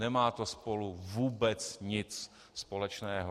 Nemá to spolu vůbec nic společného.